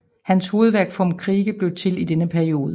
Hans hovedværk Vom Kriege blev til i denne periode